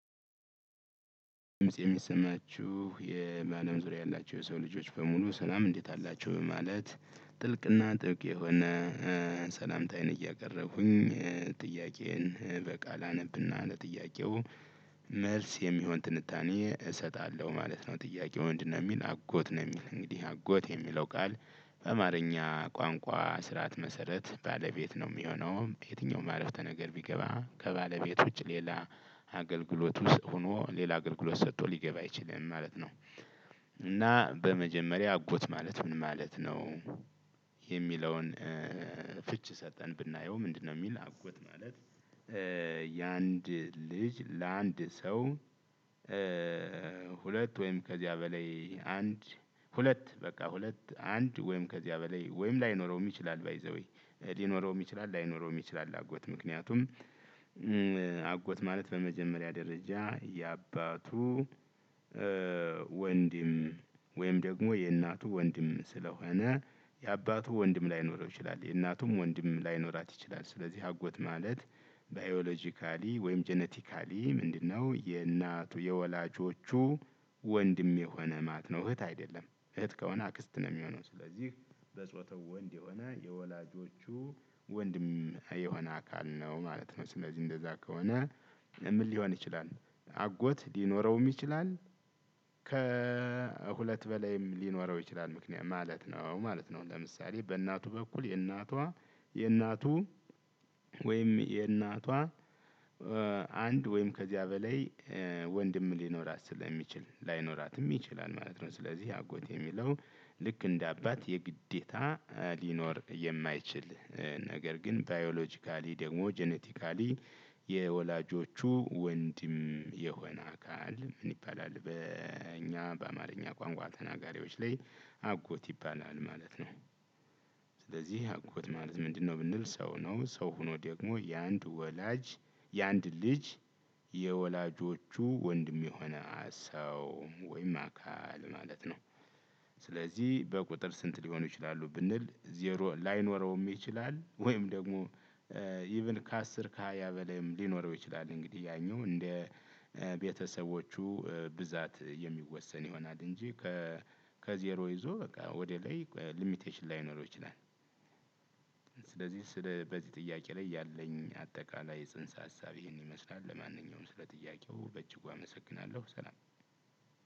ድምጽ የሚሰማችሁ የባለም ዙሪያ ያላቸው የሰው ልጆች በሙሉ ሰላም እንዴት አላቹ በማለት ጥልቅና ጥብቅ የሆነ። ሰላምታዬን እያቀረብኩኝ ጥያቄዬን በቃል አነብና ለጥያቄው መልስ የሚሆን ትንታኔ እሰጣለሁ ማለት ነው። ጥያቄው ምንድነው? የሚል አጎት ነው የሚል እንግዲህ አጎት የሚለው ቃል በአማርኛ ቋንቋ ስርዓት መሰረት ባለቤት ነው የሚሆነው የትኛውም አረፍተ ነገር ቢገባ ከባለቤት ውጪ ሌላ አገልግሎት ውስጥ ሆኖ ሌላ አገልግሎት ሰቶ ሊገባ አይችልም ማለት ነው። እና በመጀመሪያ አጎት ማለት ምን ማለት ነው? የሚለውን ፍች ሰተን ብናየው ምንድነው የሚል አጎት ማለት ያንድ ልጅ ለአንድ ሰው። ሁለት ወይም ከዚያ በላይ አንድ ሁለት በቃ ሁለት አንድ ወይም ከዚያ በላይ ወይም ላይኖረው ይችላል ባይዘዌ ሊኖረዉም ይችላል ላይኖረዉም ይችላል። አጎት ምክንያቱም አጎት ማለት በመጀመሪያ ደረጃ የአባቱ ወንድም ወይም ደሞ የእናቱ ወንድም ስለሆነ የአባቱ ወንድም ላይኖረው ይችላል የእናቱም ወንድም ላይኖራት ይችላል። ስለዚህ አጎት ማለት ባዮሎጂካሊ ወይም ጄኔቲካሊ ምንድነው የእናቱ የወላጆቹ ወንድሜ የሆነ ማለት ነው። እህት አይደለም እህት ከሆነ አክስት ነው የሚሆነው። ስለዚህ በጾታው ወንድ የሆነ የወላጆቹ ወንድም የሆነ አካል ነው ማለት ነው። ስለዚህ እንደዛ ከሆነ ምን ሊሆን ይችላል? አጎት ሊኖረውም ይችላል ከሁለት በላይም ሊኖረው ይችላል ምክንያት ማለት ነው ማለት ነው። ለምሳሌ በእናቱ በኩል የእናቷ የእናቱ ወይም የእናቷ አንድ ወይም ከዚያ በላይ ወንድም ሊኖራት ስለሚችል ላይኖራትም ይችላል ማለት ነው። ስለዚህ አጎት የሚለው ልክ እንደ አባት የግዴታ ሊኖር የማይችል ነገር ግን ባዮሎጂካሊ ደግሞ ጄኔቲካሊ የወላጆቹ ወንድም የሆነ አካል ምን ይባላል? በእኛ በአማርኛ ቋንቋ ተናጋሪዎች ላይ አጎት ይባላል ማለት ነው። ስለዚህ አጎት ማለት ምንድነው? ብንል ሰው ነው ሰው ሆኖ ደግሞ የአንድ ወላጅ የአንድ ልጅ የወላጆቹ ወንድም የሆነ ሰው ወይም አካል ማለት ነው። ስለዚህ በቁጥር ስንት ሊሆኑ ይችላሉ? ብንል ዜሮ ላይኖረውም ይችላል ወይም ደግሞ ኢቭን ከአስር ከሃያ በላይም ሊኖረው ይችላል። እንግዲህ ያኛው እንደ ቤተሰቦቹ ብዛት የሚወሰን ይሆናል። እንጂ ከዜሮ ይዞ በቃ ወደ ላይ ሊሚቴሽን ላይኖረው ይችላል። ስለዚህ ስለ በዚህ ጥያቄ ላይ ያለኝ አጠቃላይ ጽንሰ ሀሳብ ይሄን ይመስላል። ለማንኛውም ስለ ጥያቄው በጅጉ አመሰግናለሁ ሰላም።